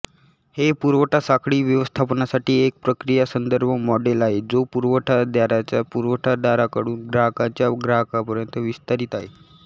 हे पुरवठासाखळी व्यवस्थापनासाठी एक प्रक्रिया संदर्भ मॉडेल आहे जो पुरवठादाराच्या पुरवठादाराकडून ग्राहकांच्या ग्राहकांपर्यंत विस्तारित आहे